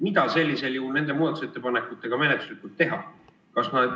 Mida sellisel juhul nende muudatusettepanekutega menetluslikult teha?